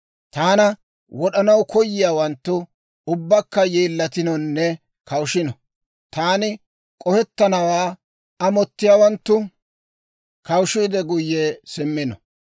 Taana wod'anaw koyiyaawanttu ubbakka yeellatinonne kawushino. Taani k'ohettannawaa amottiyaawanttu kawushiide guyye simmino.